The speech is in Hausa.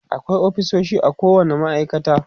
akwai ofisoshi a kowani ma'aikata